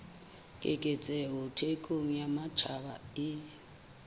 keketseho thekong ya matjhaba e